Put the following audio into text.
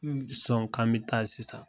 Sɔn k'an bi taa sisan.